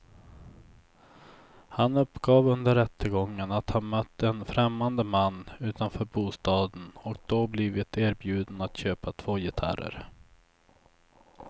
Han uppgav under rättegången att han mött en främmande man utanför bostaden och då blivit erbjuden att köpa två gitarrer.